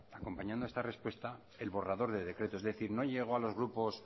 acompañando a esta respuesta el borrador del decreto es decir no llegó a los grupos